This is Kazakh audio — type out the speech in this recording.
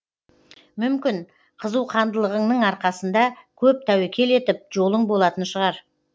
мүмкін қызуқандылығыңның арқасында көп тәуекел етіп жолың болатын шығар